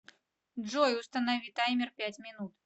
джой установи таймер пять минут